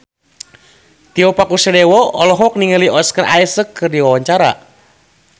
Tio Pakusadewo olohok ningali Oscar Isaac keur diwawancara